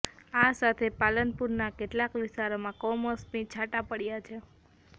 આ સાથે પાલનપુરના કેટલાક વિસ્તારોમાં કમોસમી છાંટા પડ્યા છે